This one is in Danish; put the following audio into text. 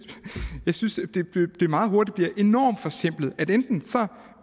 det meget hurtigt bliver enormt forsimplet altså at enten